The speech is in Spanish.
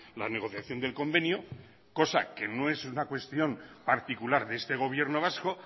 la negociación del convenio cosa que no es una cuestión particular de este gobierno vasco